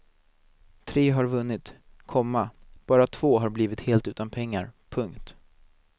Tre har vunnit, komma bara två har blivit helt utan pengar. punkt